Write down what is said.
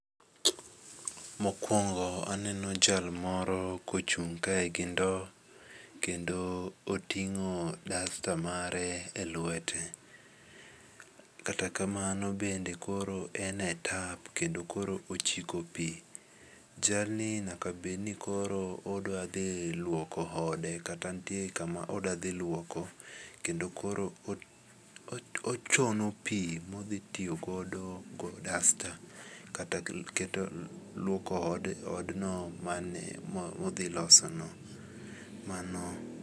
Mokuongo aneno jalmoro kochung' kae gi ndo, kendo otingo' dasta mare e lwete kata kamano bende koro ene tap kendo koro ochiko pi, jalni nyakabedni koro odwathi lwoko ode kata nitie kama odwathi lwoko kendo koro ochomo pi odwatiyo godo go dasta kata gi lwoko odno mane mothi losono